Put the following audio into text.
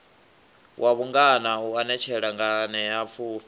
wa vhungana u anetshela nganeapfufhi